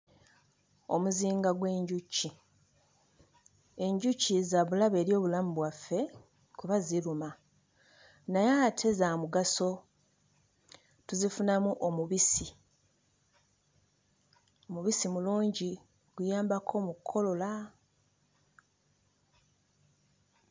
Omuzinga gw'enjuki, enjuki za bulabe eri obulamu bwaffe kuba ziruma naye ate za mugaso; tuzifunamu omubisi. Omubisi mulungi, guyambako mu kkolola.